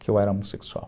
Que eu era homossexual.